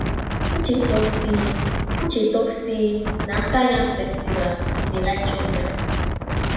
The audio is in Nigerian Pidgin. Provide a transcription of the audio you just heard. uche talk say uche talk say na after yam festival e dey like to chop yam